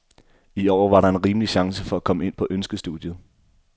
I år var der en rimelig chance for at komme ind på ønskestudiet.